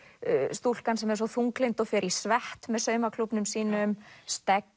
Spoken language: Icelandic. stúlkan sem er svo þunglynd og fer í svett með saumaklúbbnum sínum